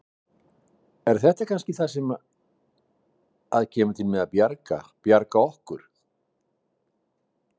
Er þetta kannski það sem að kemur til með að bjarga, bjarga okkur?